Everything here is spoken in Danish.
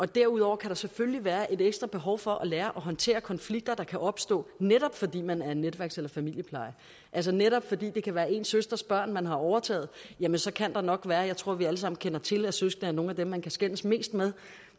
derudover kan der selvfølgelig være et ekstra behov for at lære at håndtere konflikter der kan opstå netop fordi man er netværks eller familiepleje altså netop fordi det kan være ens søsters børn man har overtaget så kan der nok være det jeg tror vi alle sammen kender til at søskende er nogle af dem man kan skændes mest med